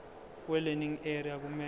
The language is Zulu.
welearning area kumele